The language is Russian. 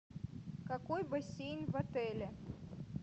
какой бассейн в отеле